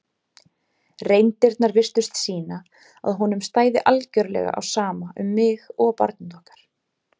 reyndirnar virtust sýna að honum stæði algjörlega á sama um mig og barnið okkar.